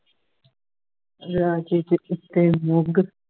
ਹਜਾਰ ਤੋਂ ਉੱਤੇ ਅੱਲਗ